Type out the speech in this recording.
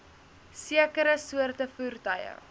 sekere soorte voertuie